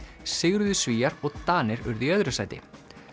sigruðu Svíar og Danir urðu í öðru sæti